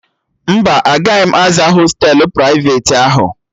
Mba, agaghị m aza hostelu prịfeti ahụ